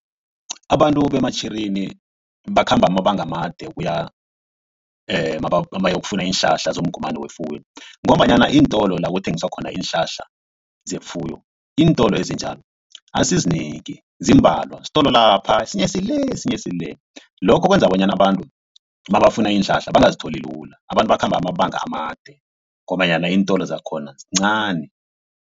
Abantu beMatjhirini bakhamba amabanga amade kuya mabayokufuna iinhlahla zomgomani wefuyo. Ngombanyana iintolo la kuthengiswa khona iinhlahla zefuyo iintolo ezinjalo azisizinengi zimbalwa sitolo lapha esinye sile esinye sile. Lokho kwenza bonyana abantu mabafuna iinhlahla bangazitholi lula abantu bakhamba amabanga amade ngombanyana iintolo zakhona zincani.